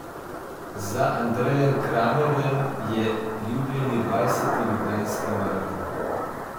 Za Andrejem Kramerjem je jubilejni dvajseti Ljubljanski maraton.